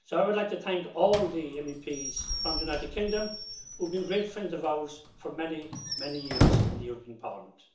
So I would like to thank all the MEPs from the United Kingdom who've been great friends of ours for many, many years in the European Parliament.